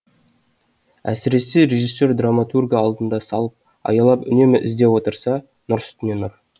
әсіресе режиссер драматургты алдына салып аялап үнемі іздеп отырса нұр үстіне нұр